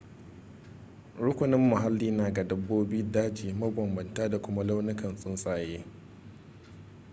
rukunin muhalli na ga dabbobin daji mabambanta da kuma launukan tsuntsaye